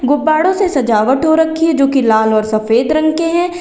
गुब्बारों से सजावट हो रखी है जो की लाल और सफेद रंग के हैं।